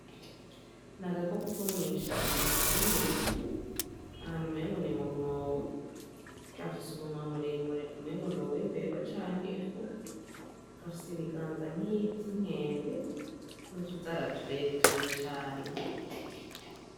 Ni agako ko ko mw'ishambo akari mu bivu ahantu umpengo ni mumwobo yafise umunwa murimure umpengo noba imbeba canke efugu gafisa ibiganza nk'ivyo inkende no tuzaratureture cane.